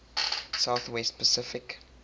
south west pacific